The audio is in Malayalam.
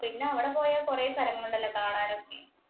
പിന്നെ അവിടെ പോയാൽ കൊറെ സ്ഥലങ്ങള് ഒണ്ടല്ലോ കാണാനൊക്കെ.